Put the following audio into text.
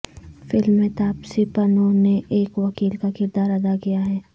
film میں تاپسی پنوں نے ایک وکیل کا کردار ادا کیا ہے